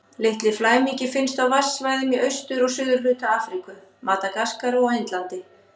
Litli flæmingi finnst á vatnasvæðum í austur- og suðurhluta Afríku, Madagaskar og á Indlandi.